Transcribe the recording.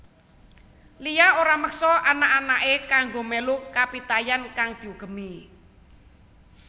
Lia ora meksa anak anaké kanggo mélu kapitayan kang diugemi